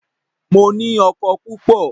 Mo ní oko púpọ̀.